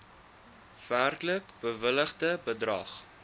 werklik bewilligde bedrag